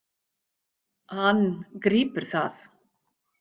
Hann grípur það.